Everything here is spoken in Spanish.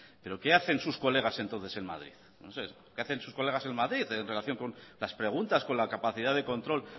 pero qué hacen sus colegas entonces en madrid qué hacen sus colegas en madrid en relación con las preguntas con la capacidad de control